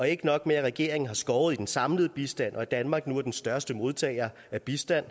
ikke nok med at regeringen har skåret i den samlede bistand og at danmark nu er den største modtager af bistand